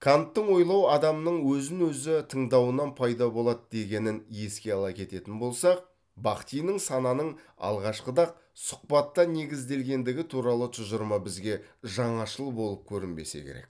канттың ойлау адамның өзін өзі тыңдауынан пайда болады дегенін еске ала кететін болсақ бахтиннің сананың алғашқыда ақ сұхбатқа негізделгендігі туралы тұжырымы бізге жаңашыл болып көрінбесе керек